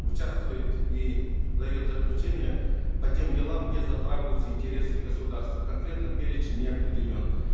участвует и дает заключение по тем делам где затрагиваются интересы государства конкретно перечень не определен